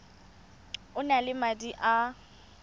o na le madi a